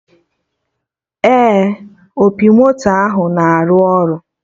Ee, opi moto ahụ na-arụ ọrụ